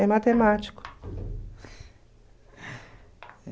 É matemático.